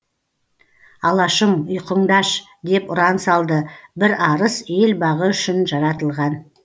алашым ұйқыңды аш деп ұран салды бір арыс ел бағы үшін жаратылған